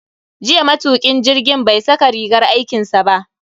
Jiya matukin jirgin bai saka rigar aikinsa ba.